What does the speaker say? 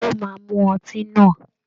He will drink it the wine